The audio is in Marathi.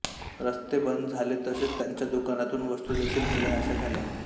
रस्ते बंद झाले तसेच त्यांना दुकानातून वस्तू देखील मिळेनाशा झाल्या